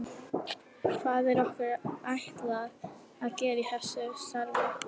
Hvað er okkur ætlað að gera í þessu starfi?